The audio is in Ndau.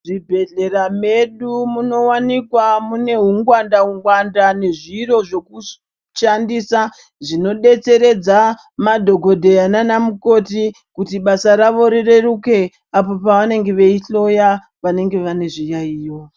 Zvibhehlera medu munowanikwa mune ungwanda-ngwanda nezviro zvekushandisa zvinodetseredza madhokodheya nana mukoti kuti basa ravo rireruke apo pavanenge veihloya vanenge vane zviyaiyo.